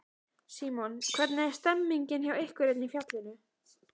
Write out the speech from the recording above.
Símon: Hvernig er stemningin hjá ykkur hérna í fjallinu?